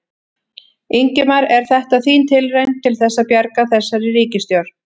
Ingimar: Er þetta þín tilraun til þess að bjarga þessari ríkisstjórn?